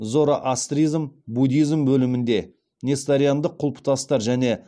зороастризм буддизм бөлімінде несториандық құлпытастар және